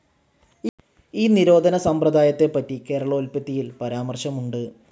ഈ നിരോധന സമ്പ്രദായത്തെപ്പറ്റി കേരളോൽപ്പത്തിയിൽ പരമാർശമുണ്ട്.